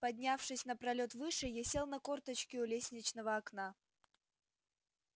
поднявшись на пролёт выше я сел на корточки у лестничного окна